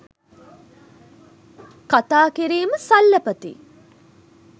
කථා කිරීම සල්ලපති ,